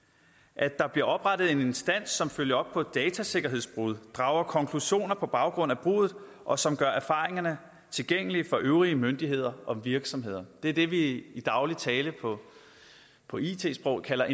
at der bliver oprettet en instans som følger op på datasikkerhedsbrud og drager konklusioner på baggrund af bruddet og som gør erfaringerne tilgængelige for øvrige myndigheder og virksomheder det er det vi i i daglig tale på på it sprog kalder